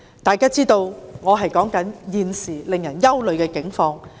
大家知道我所說的正是現時令人憂慮的境況。